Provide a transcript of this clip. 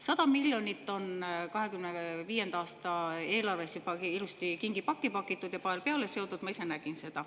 100 miljonit on 2025. aasta eelarves juba ilusti kingipakki pakitud ja pael peale seotud, ma ise nägin seda.